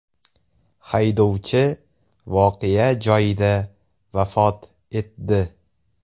Haydovchi voqea joyida vafot etdi.